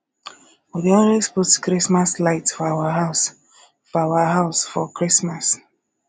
we dey always put chrismas light for our house for house for christmas